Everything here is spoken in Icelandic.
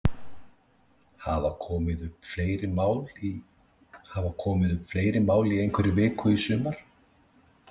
Hafa komið upp fleiri mál í einhverri viku í sumar?